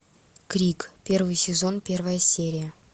крик первый сезон первая серия